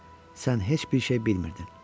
Sən heç bir şey bilmirdin.